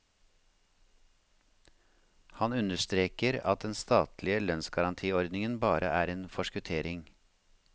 Han understreker at den statlige lønnsgarantiordningen bare er en forskuttering.